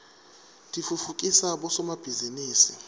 titfutfukisa bosomabhizinisi